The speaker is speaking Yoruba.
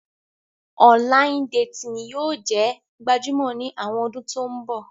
Ọnlayin-detini yóò jẹ gbajumo ni awọn ọdun to nbo.